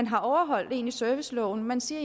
har overholdt serviceloven og man siger